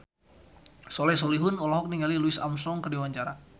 Soleh Solihun olohok ningali Louis Armstrong keur diwawancara